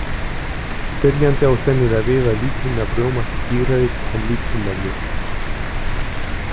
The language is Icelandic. Spyrjandi á sennilega við að lítrinn af rjóma sé dýrari en lítrinn af mjólk.